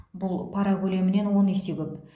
бұл пара көлемінен он есе көп